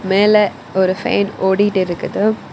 மேல ஒரு ஃபேன் ஓடிட்டிருக்குது.